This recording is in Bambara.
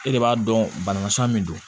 E de b'a dɔn banamasɔn min don